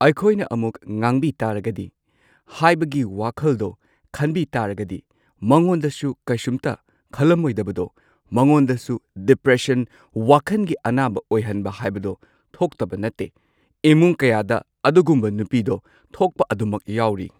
ꯑꯩꯈꯣꯏꯅ ꯑꯃꯨꯛ ꯉꯥꯡꯕꯤ ꯇꯥꯔꯒꯗꯤ ꯍꯥꯏꯕꯒꯤ ꯋꯥꯈꯜꯗꯣ ꯈꯟꯕꯤ ꯇꯥꯔꯒꯗꯤ ꯃꯉꯣꯟꯗꯁꯨ ꯀꯩꯁꯨꯝꯇ ꯈꯜꯂꯝꯃꯣꯏꯗꯕꯗꯣ ꯃꯉꯣꯟꯗꯁꯨ ꯗꯤꯄ꯭ꯔꯦꯁꯟ ꯋꯥꯈꯟꯒꯤ ꯑꯅꯥꯕ ꯑꯣꯏꯍꯟꯕ ꯍꯥꯏꯕꯗꯣ ꯊꯣꯛꯇꯕ ꯅꯠꯇꯦ ꯏꯃꯨꯡ ꯀꯌꯥꯗ ꯑꯗꯨꯒꯨꯝꯕ ꯅꯨꯄꯤꯗꯣ ꯊꯣꯛꯄ ꯑꯗꯨꯃꯛ ꯌꯥꯎꯔꯤ꯫